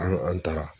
An an taara